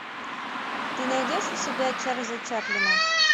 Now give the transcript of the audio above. ты найдешь у себя чарльза чаплина